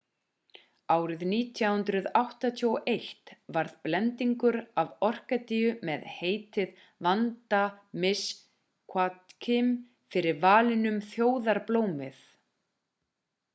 árið 1981 varð blendingur af orkídeu með heitið vanda miss joaquim fyrir valinu sem þjóðarblómið